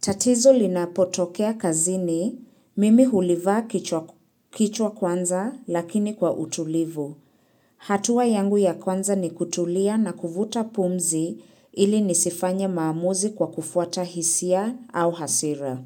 Tatizo linapotokea kazini, mimi hulivaa kichwa kwanza lakini kwa utulivu. Hatua yangu ya kwanza ni kutulia na kuvuta pumzi ili nisifanye maamuzi kwa kufuata hisia au hasira.